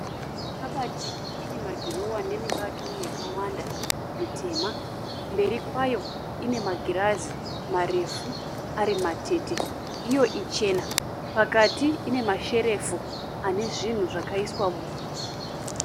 Kabati ine madhirowa nemibato yakawanda mitema. Mberi kwayo ine magirazi marefu ari matete, iyo ichena. Pakati ine masherefu ane zvinhu zvakaiswamo.